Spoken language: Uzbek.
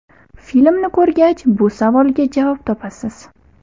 Filmni ko‘rgach bu savolga javob topasiz.